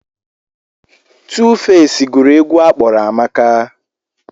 Tuufeci gụrụ egwu a kpọrọ Amaka.